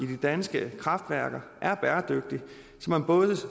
de danske kraftværker er bæredygtig så man både